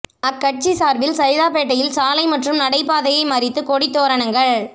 அக்கட்சி சார்பில் சைதாப்பேட்டையில் சாலை மற்றும் நடைபாதையை மறித்து கொடி தோரணங்கள்